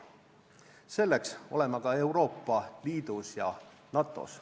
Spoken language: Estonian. Selleks oleme ka Euroopa Liidus ja NATO-s.